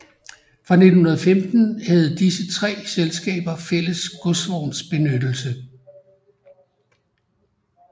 Fra 1915 havde disse tre selskaber fælles godsvognsbenyttelse